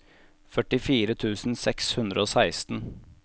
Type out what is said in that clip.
førtifire tusen seks hundre og seksten